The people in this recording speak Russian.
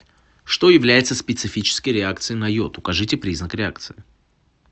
что является специфической реакцией на йод укажите признак реакции